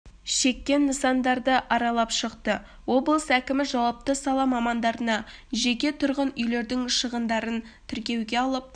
шеккен нысандарды аралып шықты облыс әкімі жауапты сала мамандарына жеке тұрғын үйлердің шығындарын тіркеуге алып